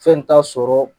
Fɛn t'a sɔrɔ